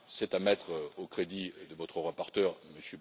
juin. C'est à mettre au crédit de votre rapporteur,